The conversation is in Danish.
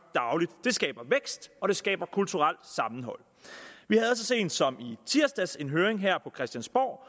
dagligt det skaber vækst og det skaber kulturelt sammenhold vi havde så sent som i tirsdags en høring her på christiansborg